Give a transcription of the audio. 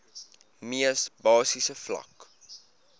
mees basiese vlak